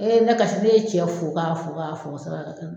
ne kasi ne ye tiyɛ f'u k'a f'u k'a y'a fɔ san'a ka taa n